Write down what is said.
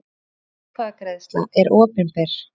Slík atkvæðagreiðsla er opinber.